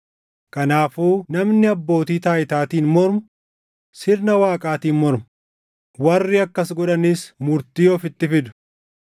Kanaafuu namni abbootii taayitaatiin mormu sirna Waaqaatiin morma; warri akkas godhanis murtii ofitti fidu.